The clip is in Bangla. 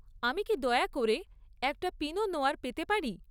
আমি কি দয়া করে একটা পিনো নোয়্যার পেতে পারি?